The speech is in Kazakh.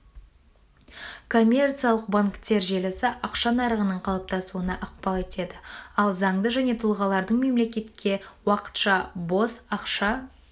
коммерциялық банктер желісі ақша нарығының қалыптасуына ықпал етеді ал заңды және тұлғалардың мемлекетке уақытша бос ақша